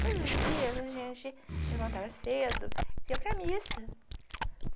Todos os dias a gente levantava cedo e ia para missa.